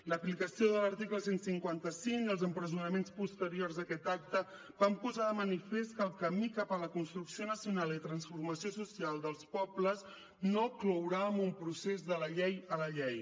l’aplicació de l’article cent i cinquanta cinc i els empresonaments posteriors a aquest acte van posar de manifest que el camí cap a la construcció nacional i transformació social dels pobles no clourà amb un procés de la llei a la llei